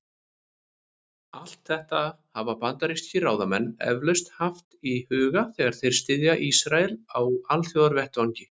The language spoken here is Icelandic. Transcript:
Allt þetta hafa bandarískir ráðamenn eflaust haft í huga, þegar þeir styðja Ísrael á alþjóðavettvangi.